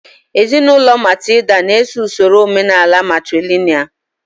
Ezinụlọ Matilda na-eso usoro omenaala matrìlị̀nị́al